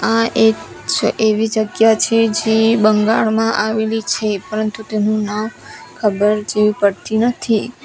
આ એક છ એવી જગ્યા છે જે બંગાળમાં આવેલી છે પરંતુ તેનું નામ ખબર જેવી પડતી નથી.